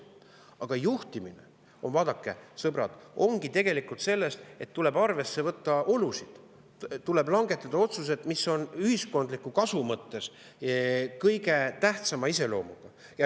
Aga juhtimine, vaadake, sõbrad, seisnebki tegelikult selles, et tuleb arvesse võtta olusid, tuleb langetada otsuseid, mis on ühiskondliku kasu mõttes kõige tähtsama iseloomuga.